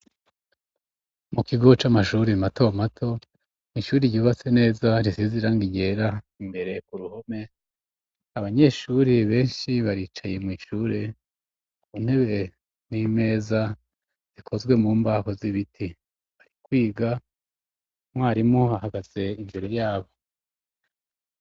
Mu kigo c'amashuri mato mato mw'ishuri yubatse neza risizirangi ryera, imbere ku ruhome abanyeshuri benshi baricaye mw'ishure ku ntebe n'imeza zikozwe mu mbaho z'ibiti, bari kwiga mwarimu ahagaze imbero yabo.